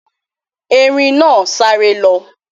erin na sare lo.